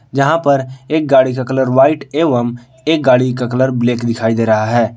जहां पर एक गाड़ी का कलर व्हाइट एवं एक गाड़ी का कलर ब्लैक दिखाई दे रहा है।